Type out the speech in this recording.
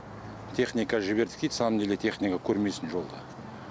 техника жібердік дейді на самом деле техника көрмейсің жолда